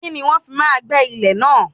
Kíni wọ́n fi máa gbé ilẹ̀ náà?